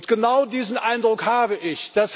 Genau diesen Eindruck habe ich.